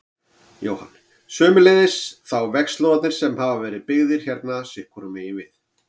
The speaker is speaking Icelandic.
Jóhann: Sömuleiðis þá vegslóðarnir sem hafa verið byggðir hérna sitthvoru megin við?